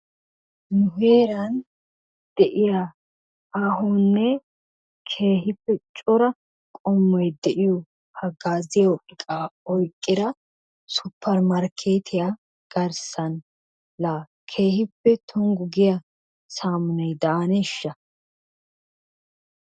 Heeran de'iyaa aahonne keehippe cora qommoy de'iyo hagaziyo iqqa oyqqida suppermarkketiyaa garssan la keehippe tonggu goyaa saamunay daaneshsha?